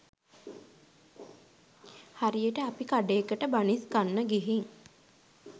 හරියට අපි කඩේකට බනිස් කන්න ගිහින්